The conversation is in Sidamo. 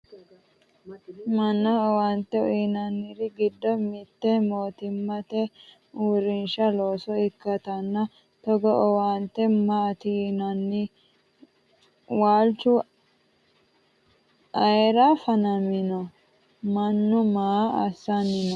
mannaho owaante uyiinanniri giddo mitte mootimmate uurrinsha loossa ikkitanna togoo owaante maati yinanni? waalchu mayeera fanamino? mannu maa assanni no?